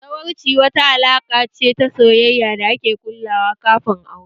Zawarci wata alaƙa ce ta soyayya da ake ƙullawa kafin aure